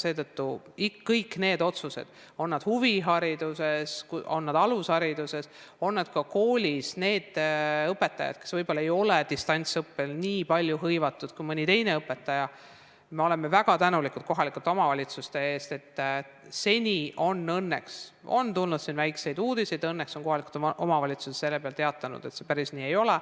Seetõttu – on need otsused huvihariduses, on need alushariduses, on need nende õpetajate kohta, kes võib-olla ei ole distantsõppega nii palju hõivatud kui mõni teine õpetaja – me oleme väga tänulikud kohalikele omavalitsustele selle eest, et seni on õnneks olnud nii, et kui on olnud väikseid uudiseid, siis on kohalikud omavalitsused selle peale teatanud, et see päris nii ei ole,